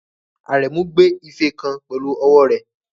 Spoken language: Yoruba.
Aremu gbé ife kan pẹ̀lú ọwọ́ rẹ̀.